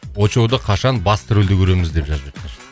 очоуды қашан басты рөлде көреміз деп жазып жатыр